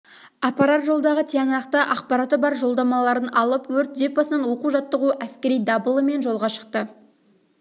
апарар жолдағы тиянақты ақпараты бар жолдамаларын алып өрт депосынан оқу жаттығу әскери дабылымен жолға шықты